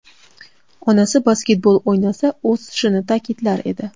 Onasi basketbol o‘ynasa o‘sishini ta’kidlar edi.